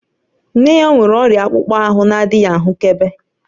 Nne ya nwere ọrịa akpụkpọ ahụ na-adịghị ahụkebe